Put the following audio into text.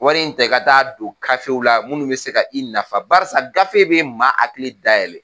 Wari in ta i ka don kafew la minnu bɛ se ka i nafa, barisa gafe bɛ maa hakili dayɛlɛn.